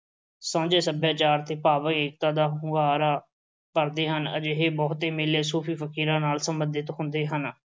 ਸਾਂਝ ਸੱਭਿਆਚਾਰ ਤੇ ਭਾਈਚਾਰਕ ਏਕਤਾ ਦਾ ਹੁੰਗਾਰਾ ਭਰਦੇ ਹਨ। ਅਜਿਹੇ ਬਹੁਤੇ ਮੇਲੇ ਸੂਫ਼ੀ-ਫ਼ਕੀਰਾਂ ਨਾਲ ਸਬੰਧਤ ਹੁੰਦੇ ਹਨ।